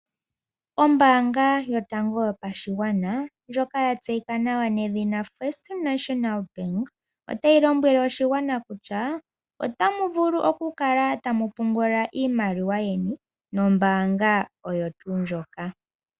oombanga yotango yopa shigwana njoka ya tseyika nawa nedhina FNB, otayi lomwele oshigwana kutya otaya vulu oku kala taya pungula iimaliwa yawo nombanga oyo tuu ndjika.